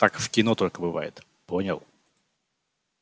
так в кино только бывает понял